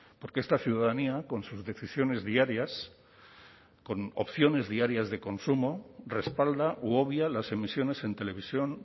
porque esta ciudadanía con sus decisiones diarias con opciones diarias de consumo respalda u obvia las emisiones en televisión